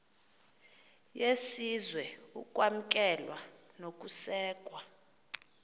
yesizwe ukwamkelwa nokusekwa